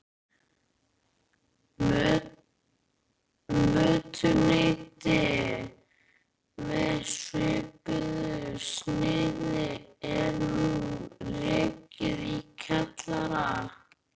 Mötuneyti með svipuðu sniði er nú rekið í kjallara